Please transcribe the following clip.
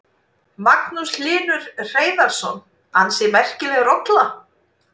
Magnús Hlynur Hreiðarsson: Ansi merkileg rolla?